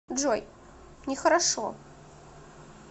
джой не хорошо